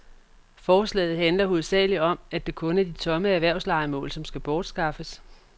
Forslaget handler hovedsagelig om, at det kun er de tomme erhvervslejemål, som skal bortskaffes.